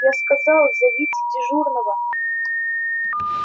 я сказал зовите дежурного